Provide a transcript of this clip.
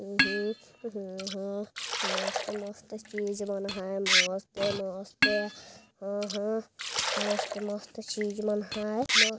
अह अह अह मस्त-मस्त चीज बना है मस्ते-मस्ते अह मस्ते-मस्ते चीज बना है।